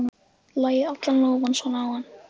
Lagði allan lófann svo á hann.